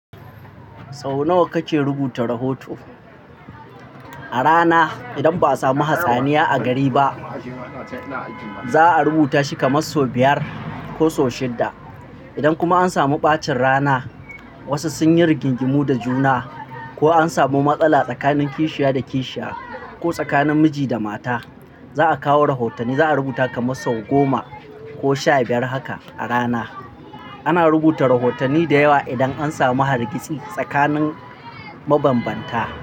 Sau nawa kake rubuta rahoto? A rana, idan ba a samu hatsaniya a gari ba, za'a rubuta shi kamar sau biyar ko shidda. Idan kuma an samu ɓacin rana, wasu sun yi rigingimu da juna, ko an samu matsala tsakanin kishiya da kishiya, ko tsakanin miji da mata, za'a kawo rahotanni. Za'a rubuta kamar sau goma ko sha biyar haka a rana. Ana rubuta rahotanni da yawa idan an samu hargitsi tsakanin mabambanta.